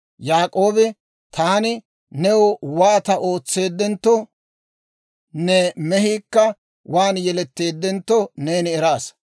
Yaak'oobi, «Taani new waata ootseedentto, ne mehiikka waan yeletteeddentto neeni eraasa.